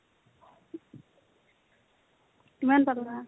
কিমান পাবা?